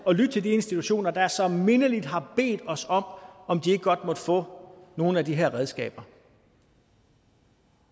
at lytte til de institutioner der så mindeligt har bedt os om om de ikke godt måtte få nogle af de her redskaber